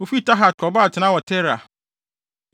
Wofii Tahat kɔbɔɔ atenae wɔ Tera.